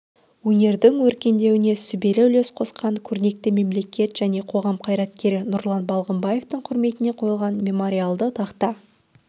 өңірдің өркендеуіне сүбелі үлес қосқан көрнекті мемлекет және қоғам қайраткері нұрлан балғымбаевтың құрметіне қойылған мемориалды тақта